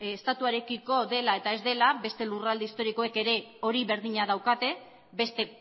estatuarekiko dela eta ez dela beste lurralde historikoek ere hori berdina daukate beste